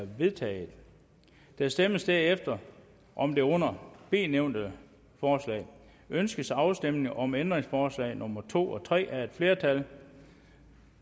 er vedtaget der stemmes derefter om det under b nævnte forslag ønskes afstemning om ændringsforslag nummer to og tre af et flertal